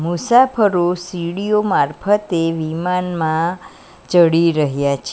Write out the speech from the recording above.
મુસાફરો સીડીઓ મારફતે વિમાનમાં ચડી રહ્યા છે.